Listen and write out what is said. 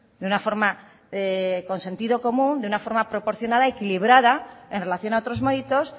de una forma con sentido común de una forma proporcionada equilibrada en relación a otros méritos